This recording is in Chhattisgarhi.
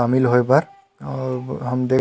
शामिल होये बर अउ हम देख--